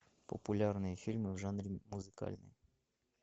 популярные фильмы в жанре музыкальный